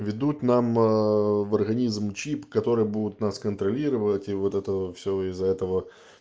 введут нам ээ в организм чип который будет нас контролировать и вот это все из-за этого